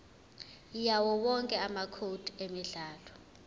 yawowonke amacode emidlalo